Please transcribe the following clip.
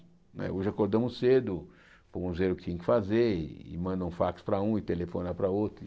Né hoje acordamos cedo, fomos ver o que tinha que fazer, e e manda fax para um e telefona para outro.